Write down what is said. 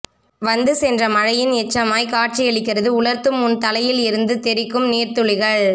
வந்துசென்ற மழையின் எச்சமாய் காட்சியளிக்கிறது உலர்த்தும் உன் தலையில் இருந்து தெறிக்கும் நீர்த்துளிகள்